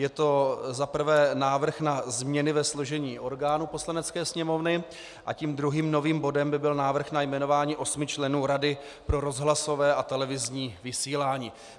Je to za prvé návrh na změny ve složení orgánů Poslanecké sněmovny a tím druhým novým bodem by byl návrh na jmenování osmi členů Rady pro rozhlasové a televizní vysílání.